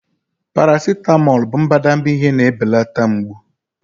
Paracetamol bụ mbadamba ihe na-ebelata mgbu.